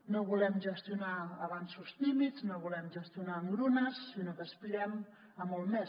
no volem gestionar avanços tímids no volem gestionar engrunes sinó que aspirem a molt més